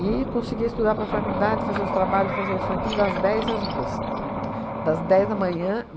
E consegui estudar para a faculdade, fazer os trabalhos, fazer isso aquilo, das dez às duas. Uhum. Das dez da manhã